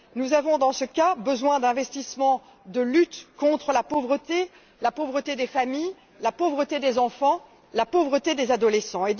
Nous avons, dans ce cas, besoin d'investissements pour lutter contre la pauvreté, la pauvreté des familles, la pauvreté des enfants, la pauvreté des adolescents.